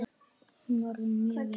Hún var orðin mjög veik.